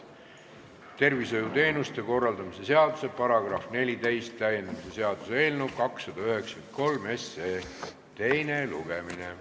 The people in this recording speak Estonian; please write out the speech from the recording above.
Tervishoiuteenuste korraldamise seaduse § 14 täiendamise seaduse eelnõu 293 teine lugemine.